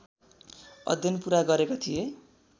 अध्ययन पुरा गरेका थिए